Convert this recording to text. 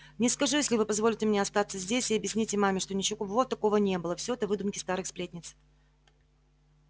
не скажу если вы позволите мне остаться здесь и объясните маме что ничего такого не было всё это выдумки старых сплетниц